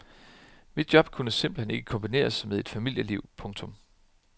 Mit job kunne simpelthen ikke kombineres med et familieliv. punktum